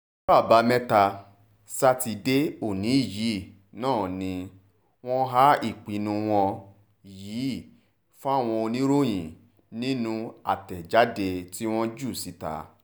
ọjọ́ àbámẹ́ta sátidé òní yìí náà ni wọ́n há ìpinnu wọn yìí fáwọn oníròyìn nínú àtẹ̀jáde tí wọ́n jù síta